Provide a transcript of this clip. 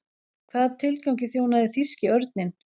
Hvaða tilgangi þjónaði þýski örninn?